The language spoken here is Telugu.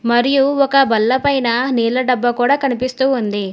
మరియు ఒక బల్ల పైన నీళ్ల డబ్బా కూడా కనిపిస్తూ ఉంది.